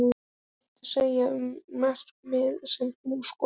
Hvað viltu segja um markið sem þú skoraðir?